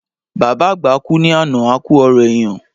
Bàbá àgbà kú ní àná, a ku ọrọ èèyàn